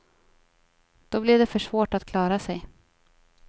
Då blir det för svårt att klara sig.